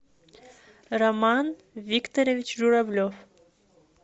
роман викторович журавлев